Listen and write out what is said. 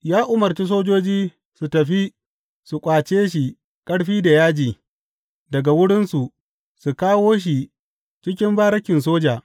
Ya umarci sojoji su tafi su ƙwace shi ƙarfi da yaji daga wurinsu su kawo shi cikin barikin soja.